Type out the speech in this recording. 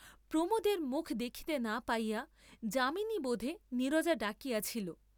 প্রমোদের মুখ দেখিতে না পাইয়া যামিনী বোধে নীরজা ডাকিয়াছিল।